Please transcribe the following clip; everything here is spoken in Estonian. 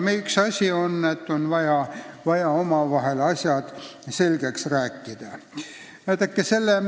Nii ongi, et on vaja omavahel asjad selgeks rääkida.